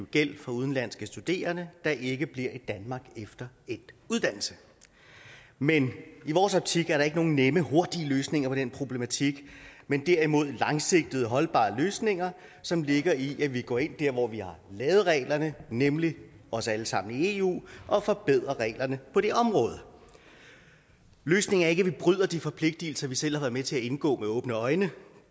gæld fra udenlandske studerende der ikke bliver i danmark efter endt uddannelse men i vores optik er der ikke nogen nemme hurtige løsninger på den problematik men derimod langsigtede og holdbare løsninger som ligger i at vi går ind der hvor vi har lavet reglerne nemlig os alle sammen i eu og forbedrer reglerne på det område løsningen er ikke at vi bryder de forpligtelser vi selv har været med til at indgå med åbne øjne